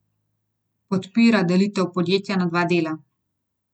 Podpira delitev podjetja na dva dela.